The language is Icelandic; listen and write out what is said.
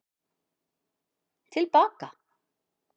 Til baka